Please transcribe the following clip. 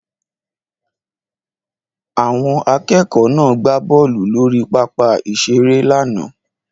Àwọn akẹ́kọ̀ọ́ náà gbá bọ́ọ̀lù lórí pápá ìṣeré lánàá